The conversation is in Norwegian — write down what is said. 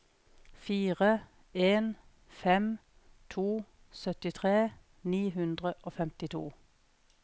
fire en fem to syttitre ni hundre og femtito